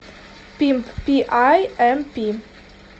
пимп пи ай эм пи